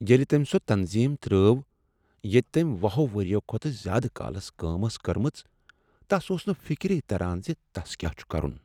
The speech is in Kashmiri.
ییٚلہ تٔمۍ سۄ تنظیم ترٛاو ییٚتہ تٔمۍ وُہ ہو ؤریو کھۄتہٕ زیٛادٕ کالس کٲم ٲس کٔرمٕژ، تس اوٗس نہٕ فکری تران زِ تسَ کیٛاہ چھ کَرُن